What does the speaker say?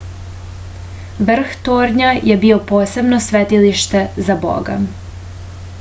vrh tornja je bio posebno svetilište za boga